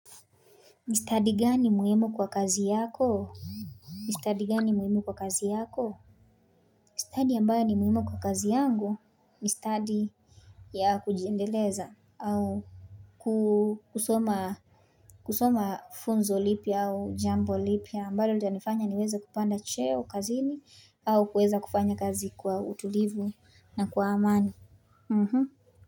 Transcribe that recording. Ni study gani muhimu kwa kazi yako ni study gani muhimu kwa kazi yako, study ambayo ni muhimu kwa kazi yangu ni study ya kujiendeleza au kusoma kusoma funzo lipya au jambo lipya ambalolitanifanya niweze kupanda cheo kazini au kuweza kufanya kazi kwa utulivu na kwa amani.